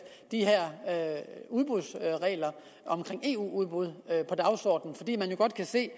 de her regler om eu udbud på dagsordenen fordi man jo godt kan se